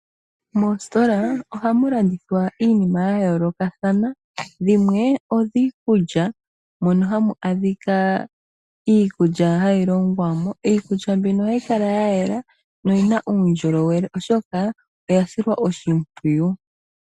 Moositola ohamu landithwa iinima yayoolokathana dhimwe odhiikulya, mono hamu adhika iikulya hayi longwa mo, iikulya mbino ohayi kala yayela noyina uundjolowele oshoka oyasilwa oshimpwiyu.